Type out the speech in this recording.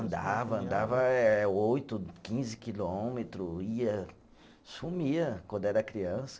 Andava, andava é oito, quinze quilômetro, ia, sumia quando era criança.